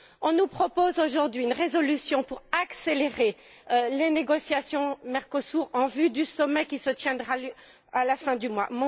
On nous propose aujourd'hui une résolution pour accélérer les négociations Mercosur, en vue du sommet qui se tiendra à la fin du mois.